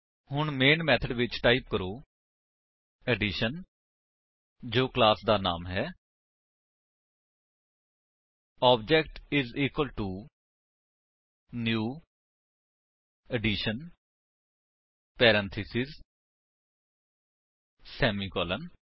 ਹੁਣ main method ਵਿੱਚ type ਕਰੋ ਐਡੀਸ਼ਨ ਜੋ ਕਲਾਸ ਦਾ ਨਾਮ ਹੈ OBJ is equal to new addition parenthesis semicolon